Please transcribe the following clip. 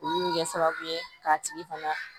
Olu bɛ kɛ sababu ye k'a tigi fana